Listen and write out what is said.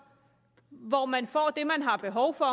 hvor man får det man har behov for